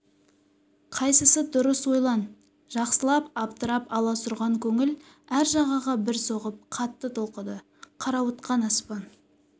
қайсысы дұрыс ойлан жақсылап абдырап аласұрған көңіл әр жағаға бір соғып қатты толқыды қарауытқан аспан